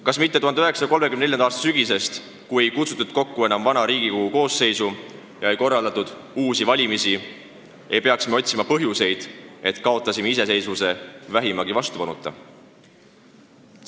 Kas mitte 1934. aasta sügisest, mil ei kutsutud kokku enam vana Riigikogu koosseisu ega korraldatud uusi valimisi, ei peaks me otsima põhjuseid, miks me kaotasime iseseisvuse vähimagi vastupanuta?